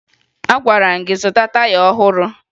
Agwara m gị zụta taya ọhụrụ!